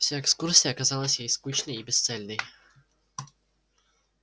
вся экскурсия казалась ей скучной и бесцельной